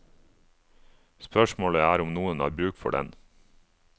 Spørsmålet er om noen har bruk for den.